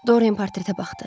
Doryan portretə baxdı.